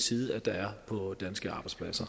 side at der er på de danske arbejdspladser